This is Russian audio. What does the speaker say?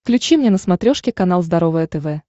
включи мне на смотрешке канал здоровое тв